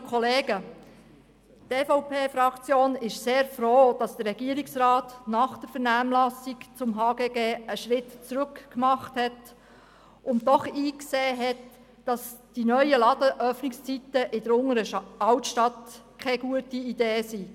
Die EVP-Fraktion ist sehr froh, dass der Regierungsrat nach der Vernehmlassung zum HGG einen Schritt zurück gemacht und eingesehen hat, dass die neuen Ladenöffnungszeiten in der Unteren Altstadt keine gute Idee sind.